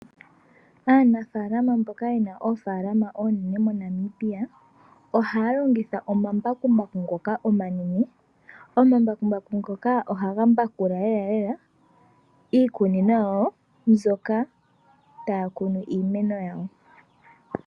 Aanafalama mboka yena oofalama oonene MoNamibia, ohaya longitha omambakumbaku ngoka omanane. Omambakumbaku ngoka ohaga mbakula lela iikunino yawo, moka taya kunu iilongomwa.